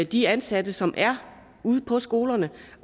de ansatte som er ude på skolerne